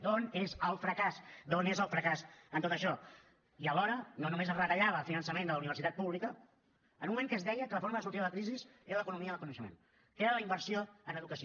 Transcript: d’on és el fracàs d’on és el fracàs en tot això i alhora no només es retallava el finançament de la universitat pública en un moment en què es deia que la forma de sortir de la crisi era l’economia del coneixement que era la inversió en educació